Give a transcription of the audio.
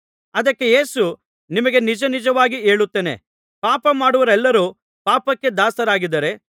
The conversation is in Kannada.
ಅದಕ್ಕೆ ಯೇಸು ನಿಮಗೆ ನಿಜನಿಜವಾಗಿ ಹೇಳುತ್ತೇನೆ ಪಾಪ ಮಾಡುವವರೆಲ್ಲರು ಪಾಪಕ್ಕೆ ದಾಸರಾಗಿದ್ದಾರೆ